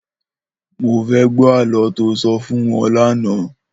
Mó fè gbò àlõ tó sò fún wòn làná